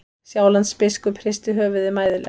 Sjálandsbiskup hristi höfuðið mæðulega.